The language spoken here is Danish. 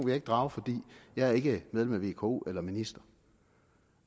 jeg ikke drage for jeg er ikke medlem af vko eller minister